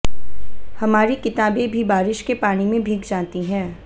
हमारी किताबे भी बारिश के पानी में भीग जाती हैं